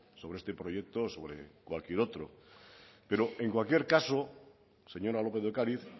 sobre este proyecto sobre cualquier otro pero en cualquier caso señora lópez de ocariz